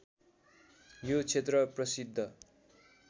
यो क्षेत्र प्रसिद्ध